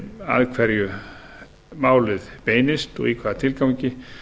að hverjum málið beinist og í hvaða tilgangi